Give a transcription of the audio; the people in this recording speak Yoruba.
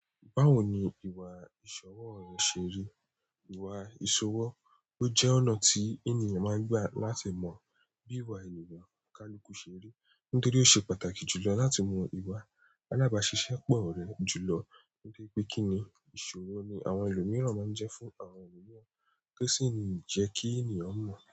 Báwo ni ìwà ìṣòwò rẹ ṣeri? Ìwà ìṣòwò, ó jẹ́ ọ̀nà tí ènìyàn máa ń gbà láti mọ bí ìwà ènìyàn kaluku ṣé rí, nítorí ó ṣe pàtàkì jùlọ láti mọ ìwà. Alabaṣiṣẹ́ pọ̀ rẹ̀ jùlọ ní bí pé kíni ìṣòrò ni àwọn ẹlòmíràn máa ń jẹ fún àwọn ènìyàn, tó sì ń jẹ́ kí ènìyàn mọ̀